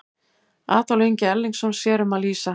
Adolf Ingi Erlingsson sér um að lýsa.